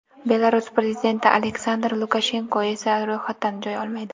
Belarus prezidenti Aleksandr Lukashenko esa ro‘yxatdan joy olmaydi.